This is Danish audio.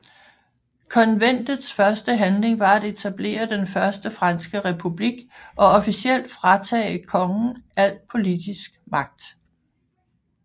Konventets første handling var at etablere den Første Franske Republik og officielt fratage kongen al politisk magt